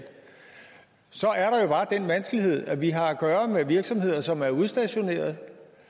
så er der jo bare den vanskelighed at vi har at gøre med virksomheder som er udstationeret